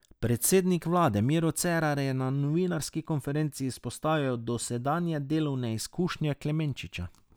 Predsednik vlade Miro Cerar je na novinarski konferenci izpostavil dosedanje delovne izkušnje Klemenčiča.